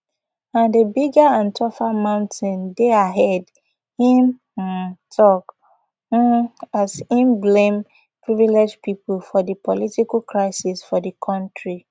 and a bigger and tougher mountain dey ahead im um tok um as im blame privileged pipo for di political crisis for di kontri